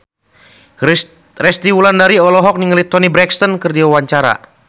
Resty Wulandari olohok ningali Toni Brexton keur diwawancara